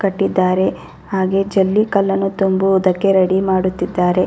ಕಟ್ಟಿದ್ದಾರೆ. ಹಾಗೆ ಜಲ್ಲಿ ಕಲ್ಲನ್ನು ತುಂಬುವುದಕ್ಕೆ ರೆಡಿ ಮಾಡುತ್ತಿದ್ದಾರೆ --